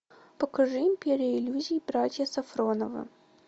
покажи империя иллюзий братья сафроновы